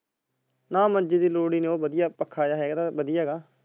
ਨਾ ਮੰਜੇ ਦੀ ਲੋੜ ਨੀ ਹੇਗੀ ਬੜੀਆਂ ਪੱਖਾਂ ਹੈਗਾ।